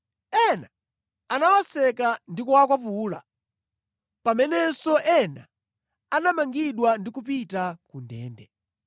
Ena anawaseka ndi kuwakwapula, pamenenso ena anamangidwa ndi kupita ku ndende.